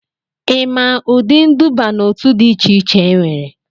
ị maa ụdị nduba n'otu dị iche iche enwere?